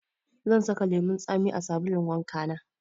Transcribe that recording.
Zan saka lemun tsami a sabulun wanka na.